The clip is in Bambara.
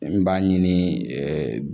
N b'a ɲini